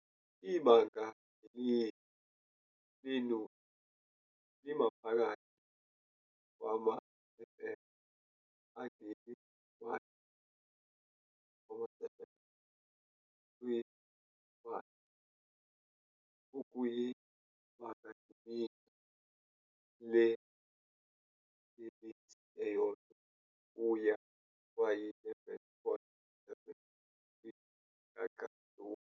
Ibangandilinga lenuzi limaphakathi kwama-fm angeli-1.70 kwihwanzi okuyibangandilinga lenelesi eyodwa kuya kwayi-11.7 kwishaqantuva.